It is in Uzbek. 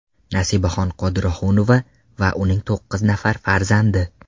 Nasibaxon Qodirohunova va uning to‘qqiz nafar farzandi.